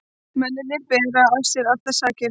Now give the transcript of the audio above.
Mennirnir bera af sér allar sakir